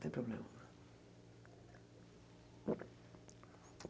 Não tem problema.